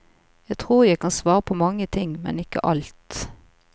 Jeg tror jeg kan svare på mange ting, men ikke alt.